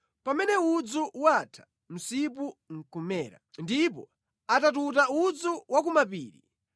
Pamene udzu watha, msipu nʼkumera; ndipo atatuta udzu wa ku mapiri,